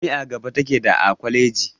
Jami'a gaba take daa kwaleji.